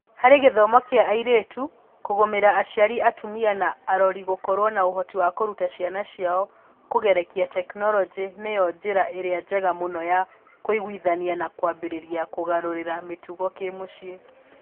Harĩ gĩthomo kĩa airĩtu, kũgũmira aciari atumia na arori gũkorwo na ũhoti wa kũruta ciana ciao kũgerera tekinoronjĩ nĩyo njĩra ĩrĩa njega mũno ya kũiguithania na kwambĩrĩria kũgarũrĩra mĩtugo ya kĩmũciĩ.